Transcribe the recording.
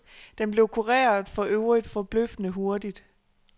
Den blev kureret, for øvrigt forbløffende hurtigt.